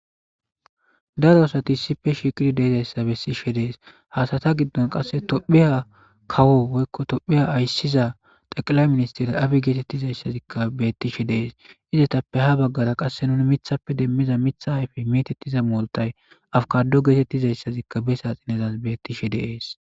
Daro asati isife shiiqiri deezayssa bessishe dees hasata giddon qasse tophiya kawo woykko tophiya ayssiza taqilay ministira abi geetettizayssazikka bettishe dees izetappe ha baggara qasse nuni mithappe demmiza mitha ayfi metettiza mooltay afkado geetettizayssazikka besa xinezas bettishe deees